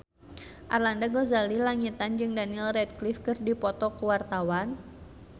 Arlanda Ghazali Langitan jeung Daniel Radcliffe keur dipoto ku wartawan